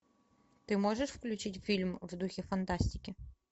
ты можешь включить фильм в духе фантастики